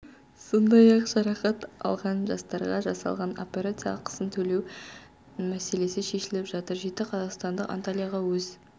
сондай-ақ жарақат алған жастарға жасалған операция ақысын төлеу мәселесі шешіліп жатыр жеті қазақстандық антальяға өз